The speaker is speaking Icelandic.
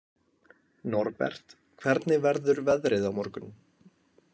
Norbert, hvernig verður veðrið á morgun?